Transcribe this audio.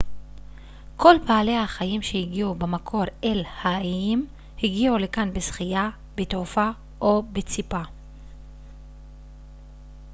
כל בעלי החיים שהגיעו במקור אל האיים הגיעו לכאן בשחייה בתעופה או בציפה